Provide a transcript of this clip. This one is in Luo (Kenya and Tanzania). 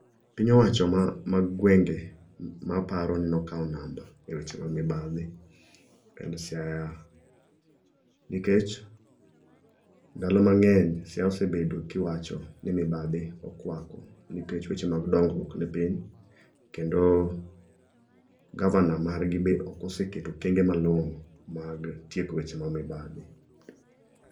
Piny owacho mag gwenge ma aparo ni okawo namba e weche mag mibadhi en Siaya, nikech ndalo mang'eny Siaya osebedo ki iwacho ni mibadhi okwako nikech weche mag dongruok ni piny kendo gavana mar gi be ok oseketo okenge malong'o mag tieko weche mag mibadhi.